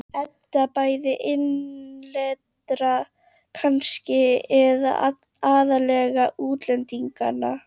Edda: Bæði innlendra kannski, eða aðallega útlendinganna?